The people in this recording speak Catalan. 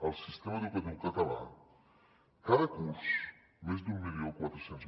al sistema educatiu català cada curs més d’un mil quatre cents